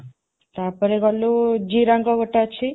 ତା ପରେ ଗଲୁ ଜିରାଙ୍ଗ ଗୋଟେ ଅଛି